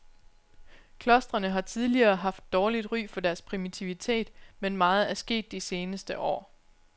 Klostrene har tidligere haft dårligt ry for deres primitivitet, men meget er sket de seneste år.